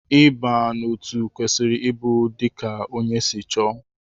Ịba n'otu kwesịrị ịbụ dika ónyé si chọọ.